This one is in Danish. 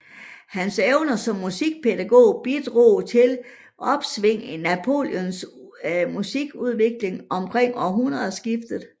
Hans evner som musikpædagog bidrog til et opsving i Napolis musikudvikling omkring århundredskiftet